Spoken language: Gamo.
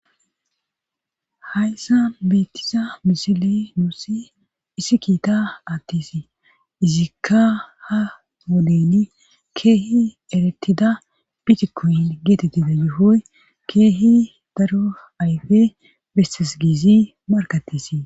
Hayssa beettiza misile nuussi issi kiita attis izikka ha modeni keehi eretida bitikooyi geetetti da gifoy keehi daro ayfe bessesgiizi markattisi.